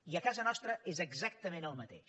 i a casa nostra és exactament el mateix